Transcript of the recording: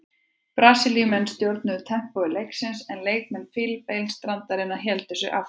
Brasilíumenn stjórnuðu tempó leiksins en leikmenn Fílabeinsstrandarinnar héldu sig aftarlega.